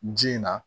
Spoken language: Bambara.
Ji in na